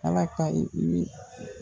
Ala ka i